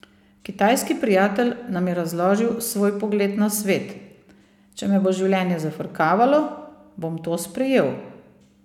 Kitajski prijatelj nam je razložil svoj pogled na svet: "Če me bo življenje zafrkavalo, bom to sprejel.